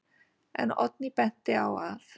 En Oddný benti á að: